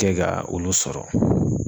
Kɛ ka olu sɔrɔ.